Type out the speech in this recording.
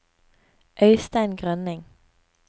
Øistein Grønning